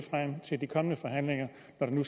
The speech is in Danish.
enten